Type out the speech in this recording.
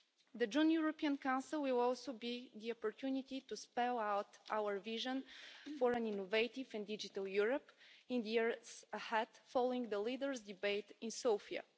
The June European Council will also be the opportunity to spell out our vision for an innovative and digital Europe in the years ahead, following the leaders' debate in Sofia.